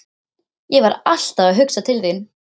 Ég var alltaf að hugsa til þín.